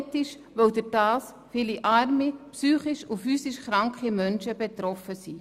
Unethisch, weil dadurch viele arme, psychisch und physisch kranke Menschen betroffen sind.